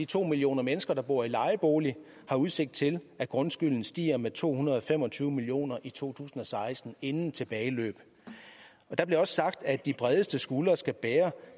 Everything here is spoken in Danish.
to millioner mennesker der bor i lejebolig har udsigt til at grundskylden stiger med to hundrede og fem og tyve million kroner i to tusind og seksten inden tilbageløb der blev også sagt at de bredeste skuldre skal bære